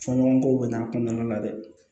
Fɔɲɔgɔnkɔw bɛ n'a kɔnɔna la dɛ